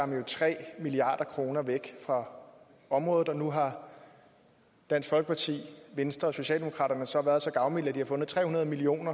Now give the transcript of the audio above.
man tre milliard kroner væk fra området og nu har dansk folkeparti venstre og socialdemokraterne været så gavmilde at de har fundet tre hundrede million